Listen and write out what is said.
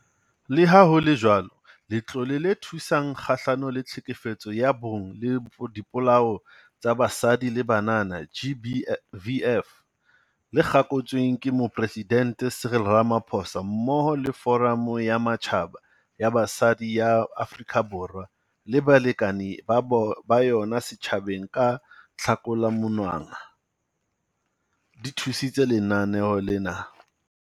Le ha ho le jwalo, Letlole le Thusang Kgahlano le Tlhekefetso ya Bong le Dipolao tsa Basadi le Banana, GBVF, le kgakotsweng ke Moporesidente Cyril Ramaphosa, mmoho le Foramo ya Matjhaba ya Basadi ya Afrika Borwa le balekane ba bo ba yona setjhabeng ka Tlhakola monongwaha, di thusitse Lenaneo lena.